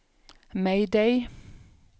mayday